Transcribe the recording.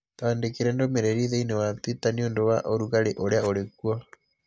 Twandĩkĩre ndũmĩrĩri thĩinĩĩ wa twitter nĩ ũndũ wa ũrugarĩ ũrĩa ũrĩ kuo